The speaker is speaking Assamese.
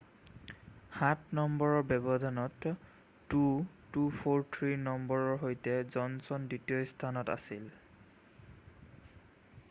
সাত নম্বৰৰ ব্যৱধানত 2,243 নম্বৰৰ সৈতে জনচন দ্বিতীয় স্থানত আছিল